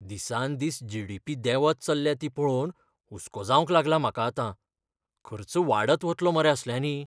दिसान दीस जी.डी.पी. देंवत चल्ल्या ती पळोवन हुस्को जावंक लागला म्हाका आतां. खर्च वाडत वतलो मरे असल्यांनी.